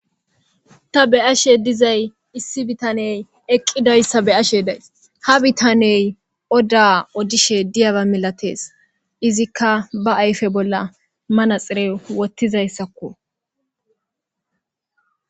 Ta beyashe dizay issi bitaney eqidaysa beyashe days ha bitaney odda odishe diyaba milates izika ba ayfe bolla manaxire wothidaysako